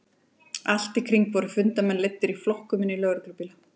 Allt í kring voru fundarmenn leiddir í flokkum inn í lögreglubíla.